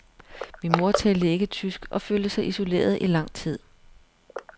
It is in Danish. Min mor talte ikke tysk og følte sig isoleret i lang tid.